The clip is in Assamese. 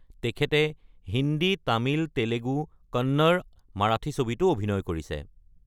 তেখেতে হিন্দী, তামিল, তেলেগু, কন্নড়া, মাৰাঠী ছবিতো অভিনয় কৰিছে।